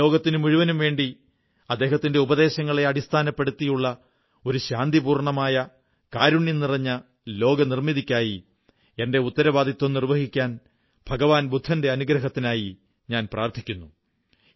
ഈ ലോകത്തിനുമുഴുവനും വേണ്ടി അദ്ദേഹത്തിന്റെ ഉപദേശങ്ങളെ അടിസ്ഥാനപ്പെടുത്തിയുള്ള ഒരു ശാന്തിപൂർണമായ കാരുണ്യം നിറഞ്ഞ ലോകനിർമ്മിതിക്കായി എന്റെ ഉത്തരവാദിത്വം നിർവ്വഹിക്കാൻ ഭഗവാൻ ബുദ്ധന്റെ അനുഗ്രഹത്തിനായി പ്രാർഥിക്കുന്നു